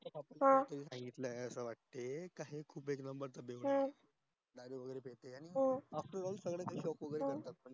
हम्म सांगितलं आहे असं वाटय का हे after all सगळ्या च shock वैगेरे असतात